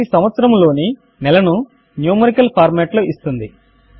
అది సంవత్సరము లోని నెలను న్యుమరికల్ ఫార్మాట్ లో ఇస్తుంది